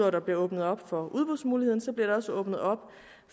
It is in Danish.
at der bliver åbnet op for udbudsmulighederne også åbnet op